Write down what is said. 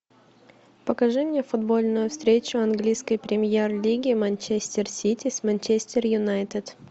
покажи мне футбольную встречу английской премьер лиги манчестер сити с манчестер юнайтед